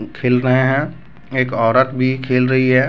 खेल रहे हैं एक औरत भी खेल रही है।